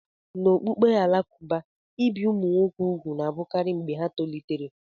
N'okpukpe Alakụba, ibi ụmụ nwoke úgwù na-abụkarị mgbe ha tolitere.